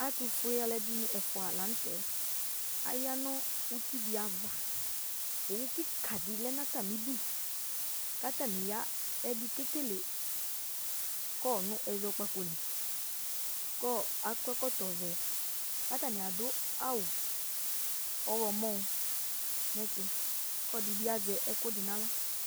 Ɛtʊfʊe alʊɛdɩnɩ ɛfʊa lanʊtɛ Aƴa nʊ ʊtɩ dɩava Owʊ kika dɩ lɛ natamɩdʊ, katanɩ ya ɛdɩ kekele ƙɔ nʊ ɛzɔkpako lɩ, kɔ zkɔ ɛkɔtɔ vɛ, kadʊ awʊ ɔwlɔmɔ nɛtʊ kɔlɔdɩ bɩ azɛ ɛkʊɛdɩ nawla